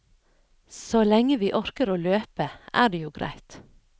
Så lenge vi orker å løpe, er det jo greit.